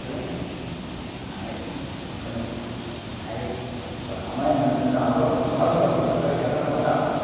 Aí, aí amanhã mesmo, então, acorda, quatro hora da madrugada, é para cortar alface.